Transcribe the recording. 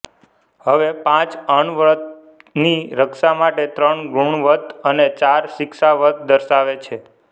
હવે પાંચ અણવ્રતની રક્ષા માટે ત્રણ ગુણવ્રત અને ચાર શિક્ષાવ્રત દર્શાવે છે